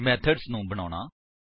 method ਨੂੰ ਬਣਾਉਣਾ